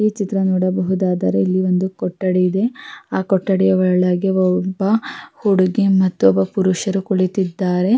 ಈ ಚಿತ್ರ ನೋಡಬಹುದಾದರೆ ಇಲ್ಲಿ ಒಂದು ಕೊಠಡಿ ಇದೆ ಆಹ್ಹ್ ಕೊಠಡಿಯ ಒಳಗೆ ಒಬ್ಬ ಹುಡುಗಿ ಒಬ್ಬ ಪುರುಷರು ಕೂತಿದ್ದಾರೆ.